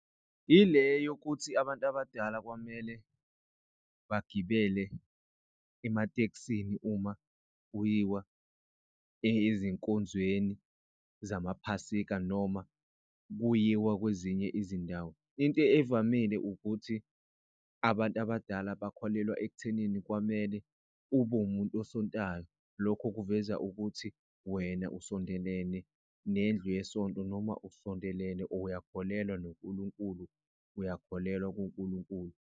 Ile yokuthi abantu abadala kwamele bagibele ematekisini uma kuyiwa ezinkonzweni zamaphasika noma kuyiwa kwezinye izindawo. Into evamile ukuthi abantu abadala bakholelwa ekuthenini kwamele ube umuntu esontayo. Lokho kuveza ukuthi wena usondelene nendlu yesonto noma usondelene or uyakholelwa noNkulunkulu uyakholelwa kuNkulunkulu.